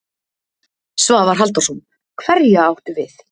Svavar Halldórsson: Hverja áttu við?